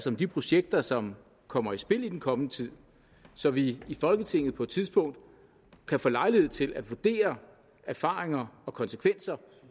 om de projekter som kommer i spil i den kommende tid så vi i folketinget på et tidspunkt kan få lejlighed til at vurdere erfaringer og konsekvenser